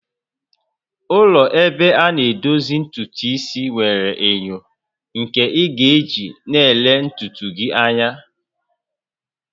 Ụlọ ebe ana edozi ntutu isi nwere enyo nke ị ga-eji na-ele ntutu gị anya